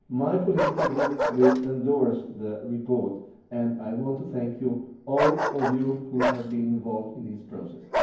My political group will endorse the report, and I want to thank all of you who have been involved in this process.